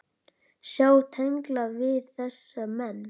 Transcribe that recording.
Sjá tengla við þessa menn.